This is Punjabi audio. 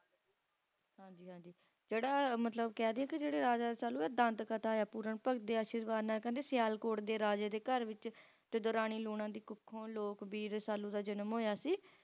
ਹਾਂਜੀ ਹਾਂਜੀ ਜਿਹੜਾ ਮਤਲਬ ਕਹਿ ਦਈਏ ਕੇ ਜਿਹੜੇ Raja Rasalu ਇਹ ਦੰਤ ਕਥਾ ਆ Pooran Bhagat ਦੇ ਅਸ਼ੀਰਵਾਦ ਨਾਲ ਕਹਿੰਦੇ Sialkot ਦੇ ਰਾਜੇ ਦੇ ਘਰ ਵਿੱਚ ਤਦੋਂ Rani Loona ਦੀ ਕੁੱਖੋਂ ਲੋਕ ਬੀਰ Rasalu ਦਾ ਜਨਮ ਹੋਇਆ ਸੀ